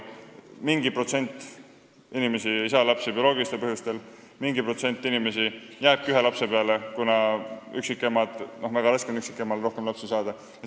Mingi protsent inimesi ei saa lapsi bioloogilistel põhjustel, mingi protsent inimesi jääbki ühe lapse peale, näiteks üksikemal on väga raske rohkem lapsi saada.